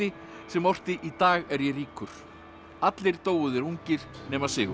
sem orti í dag er ég ríkur allir dóu þeir ungir nema Sigurður